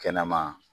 Kɛnɛma